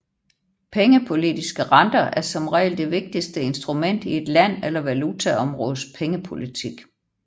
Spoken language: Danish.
Pengepolitiske renter er som regel det vigtigste instrument i et land eller valutaområdes pengepolitik